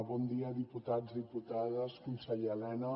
bon dia diputats diputades conseller elena